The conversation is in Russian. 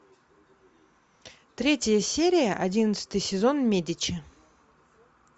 третья серия одиннадцатый сезон медичи